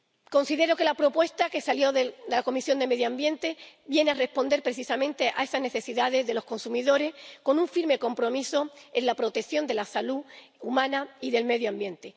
Considero que la propuesta que salió de la Comisión de Medio Ambiente viene a responder precisamente a esas necesidades de los consumidores con un firme compromiso con la protección de la salud humana y del medio ambiente.